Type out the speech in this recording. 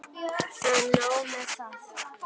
En nóg með það.